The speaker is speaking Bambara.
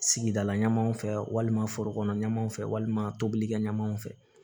Sigidala ɲamanw fɛ walima forokɔnɔ ɲɛmaaw fɛ walima tobilikɛ ɲɛmaaw fɛ